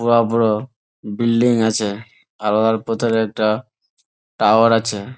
বড়ো বড়ো বিল্ডিং আছে আর ভেতরে একটা টাওয়ার আছে ।